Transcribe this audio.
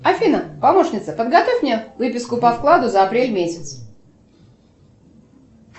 афина помощница подготовь мне выписку по вкладу за апрель месяц